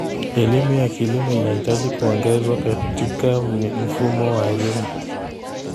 Elimu ya kilimo inahitaji kuongezwa katika mfumo wa elimu.